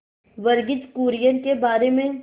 वर्गीज कुरियन के बारे में